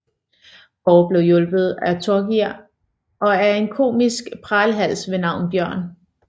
Kåre bliver hjulpet af Torgeir og af en komisk pralhals ved navn Bjørn